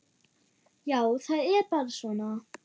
Já, það er bara svona.